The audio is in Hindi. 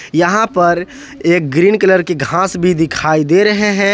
यहां पर एक ग्रीन कलर की घास भी दिखाई दे रहे हैं।